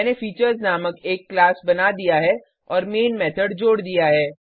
मैंने फीचर्स नामक एक क्लास बना दिया है और मेन मेथड जोड दिया है